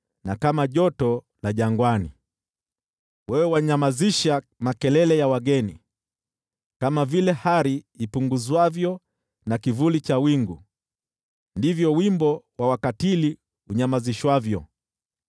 na kama joto la jangwani. Wewe wanyamazisha makelele ya wageni; kama vile hari ipunguzwavyo na kivuli cha wingu, ndivyo wimbo wa wakatili unyamazishwavyo.